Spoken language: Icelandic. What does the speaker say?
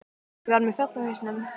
Ég var með fjall á hausnum.